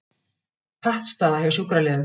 Pattstaða hjá sjúkraliðum